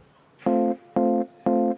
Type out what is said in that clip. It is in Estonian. SE teine lugemine.